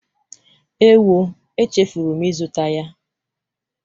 Ewo, echefuru m ịzụta ya.